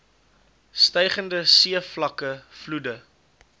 stygende seevlakke vloede